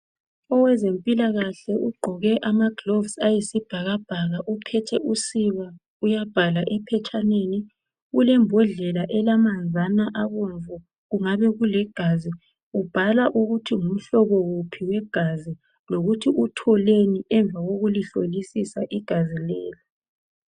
Owezempilakahle ugqoke amagloves ayisibhakabhaka. Uphethe usiba uyabhala ephetshaneni. Ulebhodlela elamanzana abomvu, kungabe kuligazi. Ubhala ukuthi ngumhlobo wuphi wegazi lokuthi utholeni emva kokulihlolisisa igazi leli.